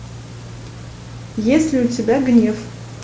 есть ли у тебя гнев